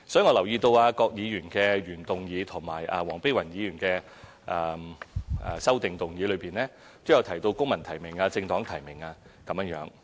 我留意到郭議員的原議案及黃碧雲議員的修正案，都有提到"公民提名"或"政黨提名"。